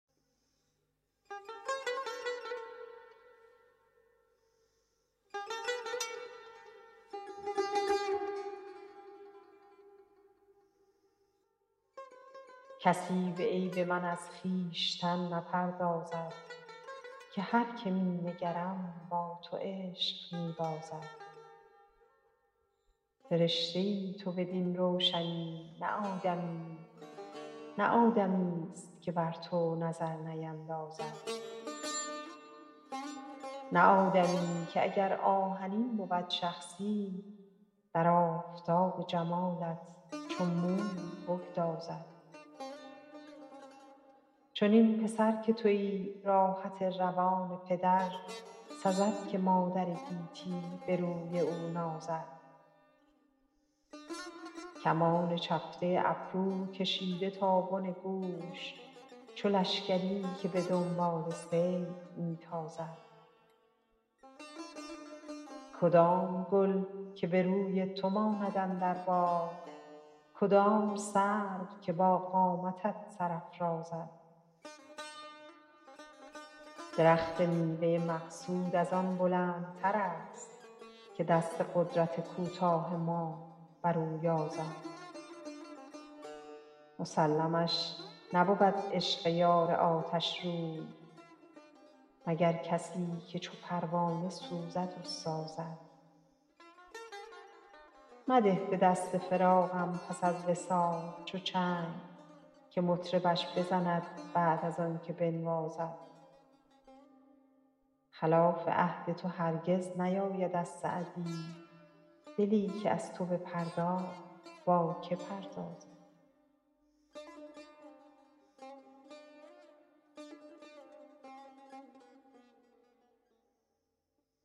کسی به عیب من از خویشتن نپردازد که هر که می نگرم با تو عشق می بازد فرشته ای تو بدین روشنی نه آدمیی نه آدمیست که بر تو نظر نیندازد نه آدمی که اگر آهنین بود شخصی در آفتاب جمالت چو موم بگدازد چنین پسر که تویی راحت روان پدر سزد که مادر گیتی به روی او نازد کمان چفته ابرو کشیده تا بن گوش چو لشکری که به دنبال صید می تازد کدام گل که به روی تو ماند اندر باغ کدام سرو که با قامتت سر افرازد درخت میوه مقصود از آن بلندترست که دست قدرت کوتاه ما بر او یازد مسلمش نبود عشق یار آتشروی مگر کسی که چو پروانه سوزد و سازد مده به دست فراقم پس از وصال چو چنگ که مطربش بزند بعد از آن که بنوازد خلاف عهد تو هرگز نیاید از سعدی دلی که از تو بپرداخت با که پردازد